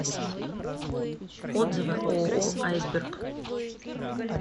отзывы ооо айсберг